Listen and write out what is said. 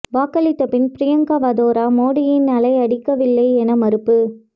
வாக்களித்த பின் பிரியங்கா வதோரா மோடியின் அலை அடிக்கவில்லை என மறுப்பு